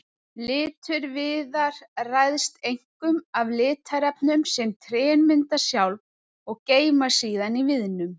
Litur viðar ræðst einkum af litarefnum sem trén mynda sjálf og geyma síðan í viðnum.